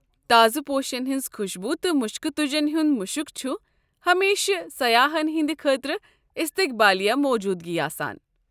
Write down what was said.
تازٕ پوشن ہنز خوشبویہ تہٕ مُشکہٕ تُجن ہنٛد مُشک چھ ہمیشہٕ سیاحن ہنٛدِ خٲطرٕ استقبالیہ موجوُدگی آسان۔